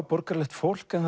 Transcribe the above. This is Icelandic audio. borgaralegt fólk en